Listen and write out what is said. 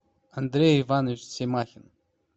андрей иванович семахин